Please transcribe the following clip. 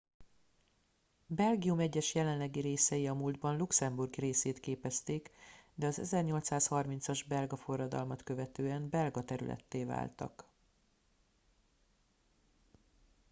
belgium egyes jelenlegi részei a múltban luxemburg részét képezték de az 1830 as belga forradalmat követően belga területté váltak